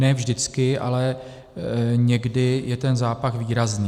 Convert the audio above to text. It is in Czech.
Ne vždycky, ale někdy je ten zápach výrazný.